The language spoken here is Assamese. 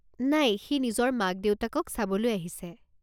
নাই সি নিজৰ মাক দেউতাকক চাবলৈ আহিছে।